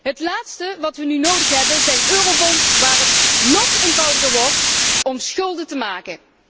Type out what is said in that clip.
Het laatste wat we nu nodig hebben zijn eurobonds waar het nog eenvoudiger wordt om schulden te maken.